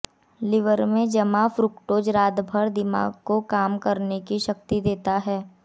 liver में जमा fructose रात भर दिमाग को काम करने की शक्ति देता है